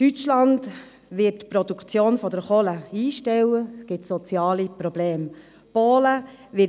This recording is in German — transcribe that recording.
Deutschland wird die Produktion der Kohle einstellen, was soziale Probleme zur Folge hat.